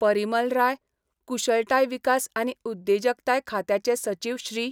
परिमल राय, कुशळताय विकास आनी उद्देजकताय खात्याचे सचिव श्री.